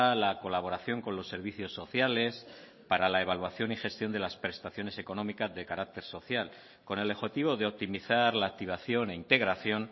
la colaboración con los servicios sociales para la evaluación y gestión de las prestaciones económica de carácter social con el objetivo de optimizar la activación e integración